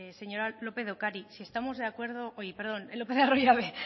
señora lópez de ocariz si estamos de acuerdo perdón lópez de arroyabe